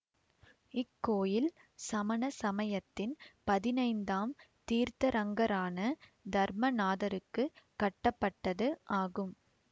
இக்கோயில் சமண சமயத்தின் பதினைந்தாம் தீர்தரங்கரான தர்மநாதருக்கு கட்டப்பட்டது ஆகும்